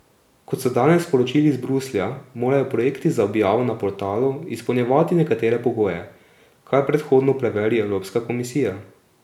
Kot so danes sporočili iz Bruslja, morajo projekti za objavo na portalu izpolnjevati nekatere pogoje, kar predhodno preveri Evropska komisija.